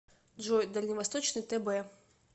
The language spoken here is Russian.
джой дальневосточный тб